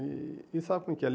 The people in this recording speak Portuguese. E e sabe como é que é?